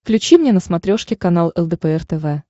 включи мне на смотрешке канал лдпр тв